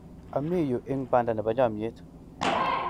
ami yu ing' banda nebo chamiet